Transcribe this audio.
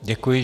Děkuji.